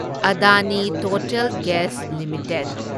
Adani total gas limited